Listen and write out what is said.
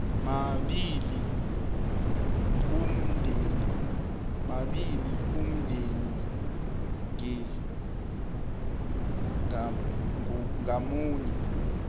mabili umndeni ngamunye